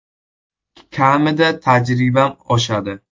Kamida tajribam oshadi.